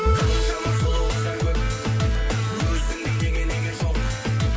қаншама сұлу қыздар көп өзіңдей неге неге жоқ